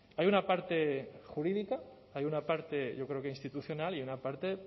hay una parte jurídica hay una parte yo creo que institucional y una parte